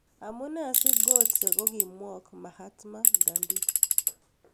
Amunee si Gotse kokiimwoog' Mahatma Gandhi